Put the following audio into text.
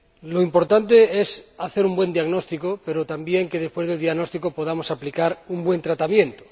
Lo importante es hacer un buen diagnóstico, pero también que, después del diagnóstico, podamos aplicar un buen tratamiento.